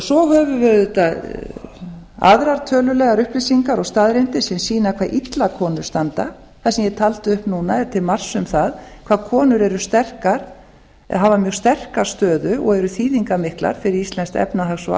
svo höfum við auðvitað aðrar tölulegar upplýsingar og staðreyndir sem sýna hve illa konur standa það sem ég taldi upp núna er til marks um það hvað konur eru sterkar eða hafa mjög sterka stöðu og eru mjög þýðingarmiklar fyrir íslenskt efnahags og